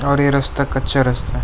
और ये रस्ता कच्चा रास्ता है।